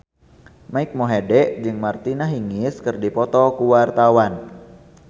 Mike Mohede jeung Martina Hingis keur dipoto ku wartawan